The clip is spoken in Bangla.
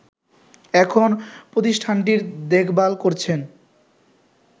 এখন প্রতিষ্ঠানটির দেখভাল করছেন